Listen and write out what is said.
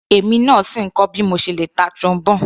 Èmi náà sì ń kọ́ bí mo ti le ta Trombone.